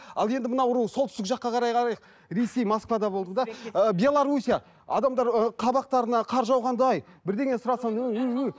ал енді мынау солтүстік жаққа қарай ресей москвада болдым да ы белоруссия адамдары ы қабақтарына қар жауғандай бірдеңе сұрасам